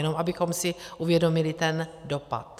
Jenom abychom si uvědomili ten dopad.